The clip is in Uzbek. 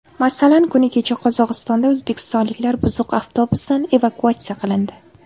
Masalan, kuni kecha Qozog‘istonda o‘zbekistonliklar buzuq avtobusdan evakuatsiya qilindi .